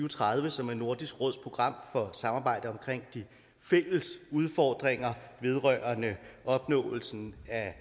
og tredive som er nordisk råds program for samarbejde omkring de fælles udfordringer vedrørende opnåelsen af